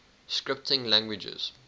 scripting languages